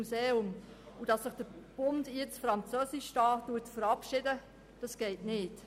Und dass sich der Bund hier nun «französisch verabschiedet», geht nicht.